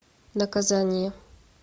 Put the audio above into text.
наказание